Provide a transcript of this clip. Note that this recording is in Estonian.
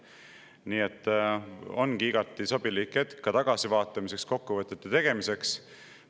Nii et ongi igati sobilik hetk tagasi vaatamiseks ja kokkuvõtete tegemiseks.